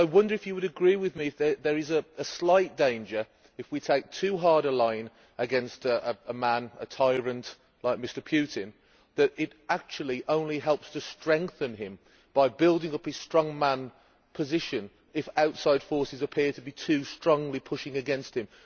But I wonder if you would agree with me that there is a slight danger, if we take too hard a line against a tyrant like Mr Putin, that it actually only helps to strengthen him, by building up his strongman position, if outside forces appear to be too strongly pushing against him?